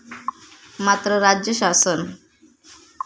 मात्र राज्य शासन.